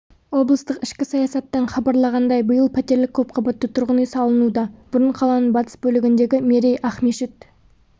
облыстық ішкі саясаттан хабарлағандай биыл пәтерлік көпқабатты тұрғын үй салынуда бұрын қаланың батыс бөлігіндегі мерей ақмешіт